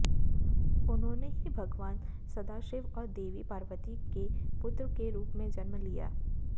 उन्होंने ही भगवान सदाशिव और देवी पार्वती के पुत्र के रूप में जन्म लिया